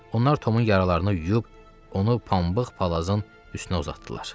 Onlar Tomun yaralarını yuyub, onu pambıq palazın üstünə uzatdılar.